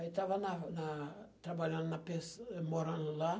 Aí estava na na trabalhando na pens, eh, morando lá.